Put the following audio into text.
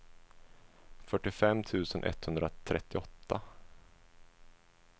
fyrtiofem tusen etthundratrettioåtta